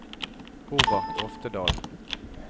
Robert Oftedal